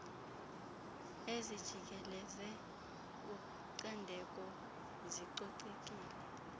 ezijikeleze ucandeko zicocekile